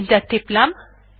enter টিপলাম